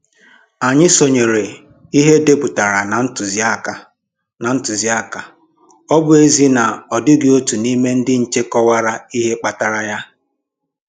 Anyị sonyere ihe e depụtaran na ntụziaka, na ntụziaka, ọ bụ ezie na ọ dịghị otu n'ime ndị nche kọwara ihe kpatara ya.